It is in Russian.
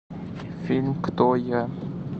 фильм кто я